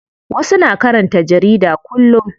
Wasu na karanta jarida kullum.